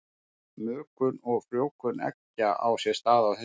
Mökun og frjóvgun eggja á sér stað á haustin.